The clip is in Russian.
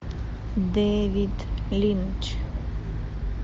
дэвид линч